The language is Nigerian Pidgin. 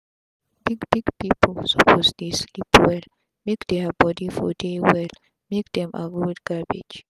big big pipu suppose dey sleep well make dia body for dey well make dem avoid gbege